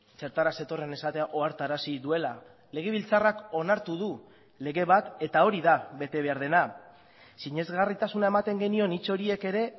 zertara zetorren esatea ohartarazi duela legebiltzarrak onartu du lege bat eta hori da bete behar dena sinesgarritasuna ematen genion hitz horiek ere